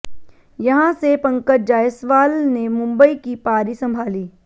यहां से पंकज जायसवाल ने मुंबई की पारी संभाली